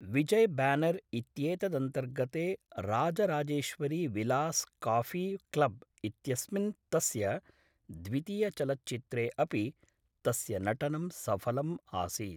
विजयब्यानर् इत्येतदन्तर्गते Rajarajeshwari Vilas coffee club इत्यस्मिन् तस्य द्वितीयचलच्चित्रे अपि तस्य नटनं सफलम् आसीत्